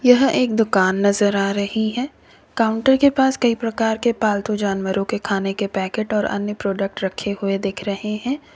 यह एक दुकान नजर आ रही है काउंटर के पास कई प्रकार के पालतू जानवरों के खाने के पैकेट और अन्य प्रोडक्ट रखे हुए दिख रहे है।